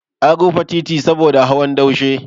An rufe titi saboda hawan daushe.